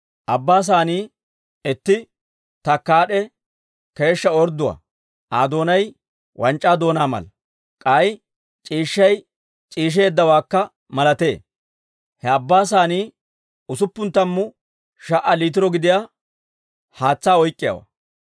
Abbaa Saanii itti takkaad'e keeshshaa ordduwaa; Aa doonay wanc'c'aa doonaa mala; k'ay c'iishshay c'iisheeddawaakka malatee. He Abbaa Saanii usuppun tammu sha"a liitiro gidiyaa haatsaa oyk'k'iyaawaa.